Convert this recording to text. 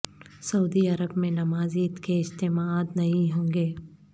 سعودی عرب میں نماز عید کے اجتماعات نہیں ہوں گے